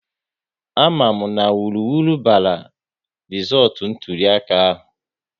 A ma mụ na wuruwuru bara rizọọtụ ntụliaka ahụ